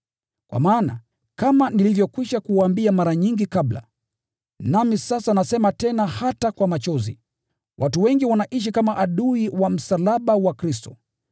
Kwa maana, kama nilivyokwisha kuwaambia mara nyingi kabla, nami sasa nasema tena hata kwa machozi, watu wengi wanaishi kama adui wa msalaba wa Kristo.